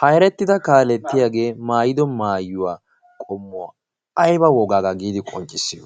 haerettida kaalettiyaagee maayido maayuwaa qommuwaa aiba wogaagaa giidi qonccissiyo?